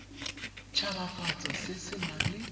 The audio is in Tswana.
tshabafatso se se nang le